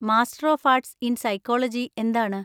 Master of arts in psychology എന്താണ്?